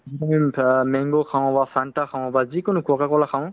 অ mango খাওঁ বা fanta খাওঁ বা যিকোনো coca cola খাওঁ